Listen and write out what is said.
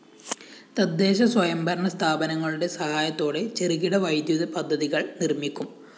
തദ്ദേശ സ്വയംഭരണ സ്ഥാപനങ്ങളുടെ സഹായത്തോടെ ചെറുകിട വൈദ്യുത പദ്ധതികള്‍ നിര്‍മിക്കും